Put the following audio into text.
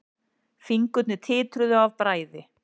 Fingurnir titruðu af bræði.